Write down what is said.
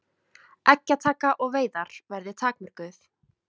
Eggjataka og veiðar verði takmörkuð